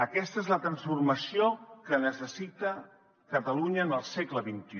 aquesta és la transformació que necessita catalunya en el segle xxi